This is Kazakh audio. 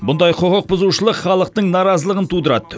бұндай құқықбұзушылық халықтың наразалығын тудырады